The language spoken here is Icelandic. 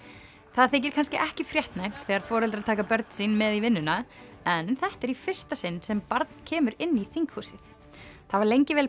það þykir kannski ekki fréttnæmt þegar foreldrar taka börn sín með í vinnuna en þetta er í fyrsta sinn sem barn kemur inn í þinghúsið það var lengi vel